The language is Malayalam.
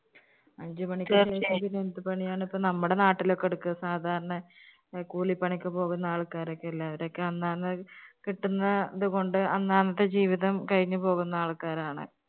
അഞ്ച് മണിക്ക് ശേഷം എന്തു പണിയാണ് ഇപ്പോ നമ്മുടെ നാട്ടിലൊക്കെ എടുക്കുക സാധാരണ അഹ് കൂലിപ്പണിക്ക് പോകുന്ന ആള്‍ക്കാരക്കെ അല്ലേ അവരൊക്കെ അന്നാന്ന് കിട്ടുന്നത് കൊണ്ട് അന്നാന്നത്തെ ജീവിതം കഴിഞ്ഞ് പോകുന്ന ആള്‍ക്കാരാണ്.